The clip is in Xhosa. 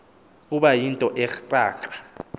kuba yinto ekrakra